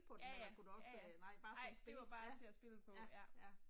Ja ja, ja ja, nej det var bare til at spille på ja